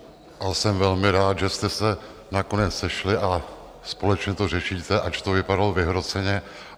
A jsem velmi rád, že jste se nakonec sešly a společně to řešíte, ač to vypadalo vyhroceně.